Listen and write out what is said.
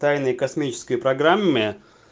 тайная космическое программе